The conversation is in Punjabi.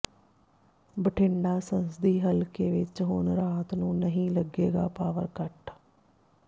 ਬਠਿੰਡਾ ਸੰਸਦੀ ਹਲਕੇ ਵਿੱਚ ਹੁਣ ਰਾਤ ਨੂੰ ਨਹੀਂ ਲੱਗੇਗਾ ਪਾਵਰ ਕੱਟ